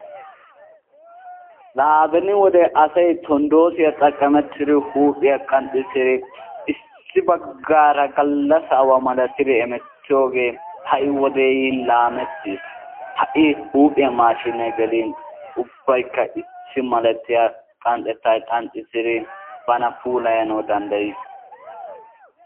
Laa beni wode asay tondoosiya xaqametidi huuphiya qanxissidi issi baggaara gallassa awaa malatidi hemettiyoogee ha"i wodee yin laamettis. ha"i huuphiya maashshiinee gelin ubbayikka issi malatiya qanxxetaa qanxxissidi bana puulayanawu dandayes.